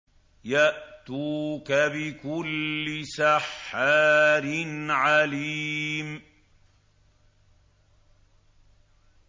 يَأْتُوكَ بِكُلِّ سَحَّارٍ عَلِيمٍ